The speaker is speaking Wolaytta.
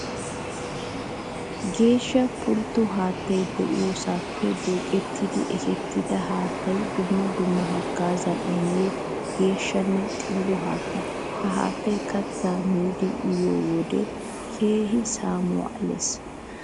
Geeshsha pultto haattay de'iyosappe duuqqetidi ekketidda haatta dumma dumma hagaaza immiya geeshshanne xillo haatta. Ha haattay katta miidi uyiyoode keehippe saamuwa alees.